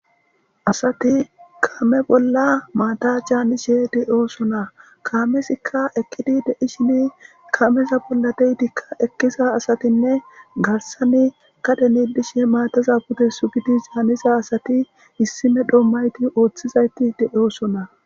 asati kame bolla maata caanishe de'osona kaamesikka ekkidi dei shini kameta bolla deyidikka ekkisa asatinne garsani kadenidishe maataza budesu gidi zaanisa asati issime dhommayti ooththizayti de'osona